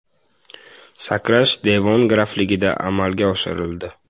Sakrash Devon grafligida amalga oshirildi.